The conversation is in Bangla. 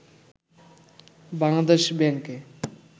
বাংলাদেশ ব্যাংকে